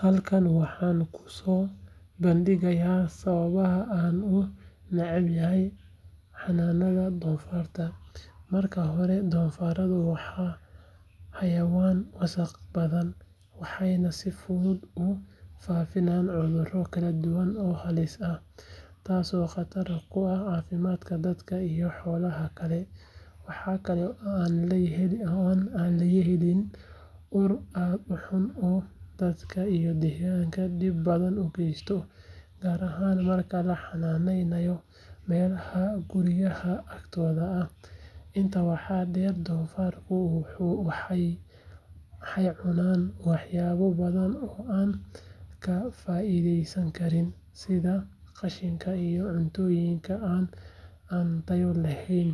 Halkan waxaan ku soo bandhigayaa sababaha aan u necbahay xanaanaynta doofaarrada. Marka hore, doofaarradu waa xayawaan wasakh badan, waxayna si fudud u faafiyaan cudurro kala duwan oo halis ah, taasoo khatar ku ah caafimaadka dadka iyo xoolaha kale. Waxa kale oo ay leeyihiin ur aad u xun oo dadka iyo deegaanka dhib badan u geysta, gaar ahaan marka la xannaaneeyo meelaha guryaha agtooda ah. Intaa waxaa dheer, doofaarradu waxay cunaan waxyaabo badan oo aan ka faa’iidaysan karin, sida qashinka iyo cuntooyinka aan tayo lahayn,